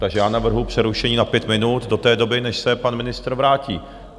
Takže já navrhuji přerušení na pět minut do té doby, než se pan ministr vrátí.